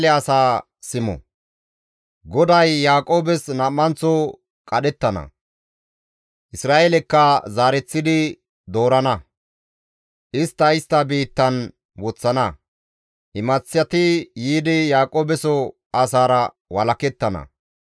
GODAY Yaaqoobes nam7anththo qadhettana; Isra7eelekka zaareththidi doorana. Istta istta biittan woththana; imaththati yiidi Yaaqoobeso asaara walakettana.